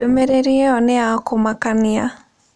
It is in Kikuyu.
Ndũmĩrĩri ĩyo nĩ ya kũmakania